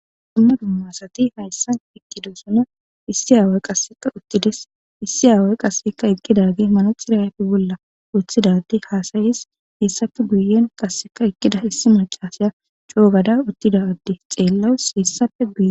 Dumma dummasati hayssan iqqidosuna issi aaway qasseka uttides issi aaway qasseka eqqidadi manoxirafi bolla woththidadi haasayis hessafe guyen qasseka eqqida issi macasiya coo gada uttida adde xeellawus hessafe guye.